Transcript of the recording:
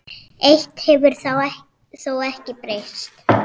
Eitt hefur þó ekki breyst.